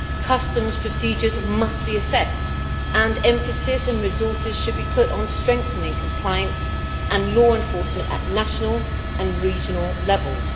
Customs procedures must be assessed, and emphasis and resources should be put on strengthening compliance and law enforcement at national and regional levels.